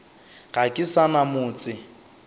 ga ke sa na motse